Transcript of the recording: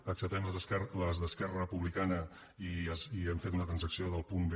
acceptem les d’esquerra republicana i hem fet una transacció del punt b